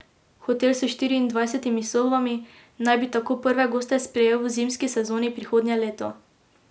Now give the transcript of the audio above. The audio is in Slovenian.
Hotel s štiriindvajsetimi sobami naj bi tako prve goste sprejel v zimski sezoni prihodnje leto.